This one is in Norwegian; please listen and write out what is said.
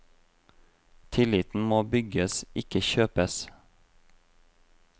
Tilliten må bygges, ikke kjøpes.